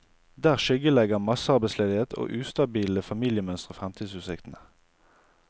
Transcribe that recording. Der skyggelegger massearbeidsledighet og ustabile familiemønstre fremtidsutsiktene.